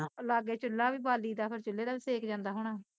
ਲਾਗੇ ਚੁਲਾ ਵੀ ਬਾਲੀ ਦਾ ਤੇ ਚੁਲਏ ਦਾ ਵੀ ਸੇਕ ਜਾਂਦਾ ਹੋਣਾ